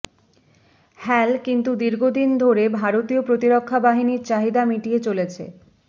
হ্যাল কিন্তু দীর্ঘদিন ধরে ভারতীয় প্রতিরক্ষা বাহিনীর চাহিদা মিটিয়ে চলেছে